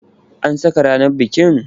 An saka ranar bikin?